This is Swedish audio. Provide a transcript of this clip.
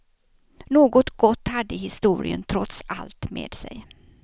Något gott hade historien trots allt med sig.